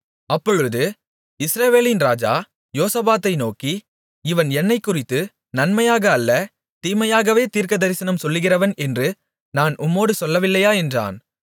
அப்பொழுது இஸ்ரவேலின் ராஜா யோசபாத்தை நோக்கி இவன் என்னைக்குறித்து நன்மையாக அல்ல தீமையாகவே தீர்க்கதரிசனம் சொல்லுகிறவன் என்று நான் உம்மோடு சொல்லவில்லையா என்றான்